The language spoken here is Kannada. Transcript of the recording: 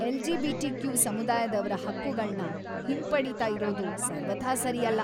ಎಲ್.ಜಿ.ಬಿ.ಟಿ.ಕ್ಯೂ. ಸಮುದಾಯದವ್ರ ಹಕ್ಕುಗಳ್ನ ಹಿಂಪಡೀತಾ ಇರೋದು ಸರ್ವಥಾ ಸರಿಯಲ್ಲ.